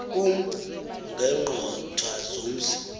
kum ngeengqoth zomzi